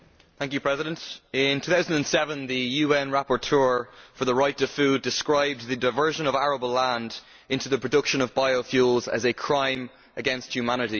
Mr President, in 2007 the UN rapporteur for the right to food described the diversion of arable land to the production of biofuels as a crime against humanity.